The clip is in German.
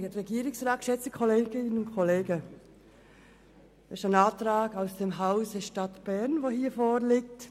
Es ist ein Antrag aus dem Hause Stadt Bern, der hier vorliegt.